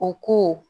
O ko